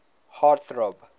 heart throb